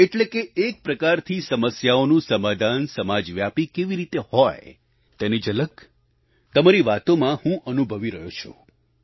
એટલે કે એક પ્રકારથી સમસ્યાઓનું સમાધાન સમાજવ્યાપી કેવી રીતે હોય તેની ઝલક તમારી વાતોમાં હું અનુભવી રહ્યો છું